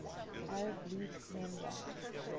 arab league member